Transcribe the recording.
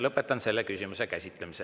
Lõpetan selle küsimuse käsitlemise.